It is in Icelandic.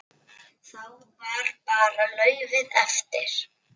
Þá var bara laufið eftir.